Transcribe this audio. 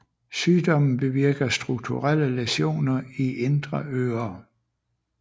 Sygdommen bevirker strukturelle læsioner i indre øre